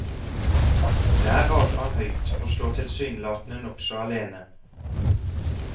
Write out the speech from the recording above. Der rager han høyt og står tilsynelatende nokså alene.